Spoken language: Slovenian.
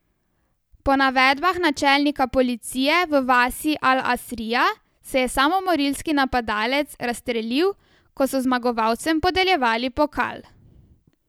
Po navedbah načelnika policije v vasi al Asrija se je samomorilski napadalec razstrelil, ko so zmagovalcem podeljevali pokal.